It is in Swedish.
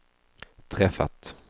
träffat